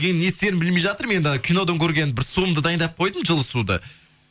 енді не істерімді білмей жатырмын енді ана кинодан көрген бір суымды дайындап қойдым жылы суды